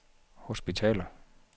hospitaler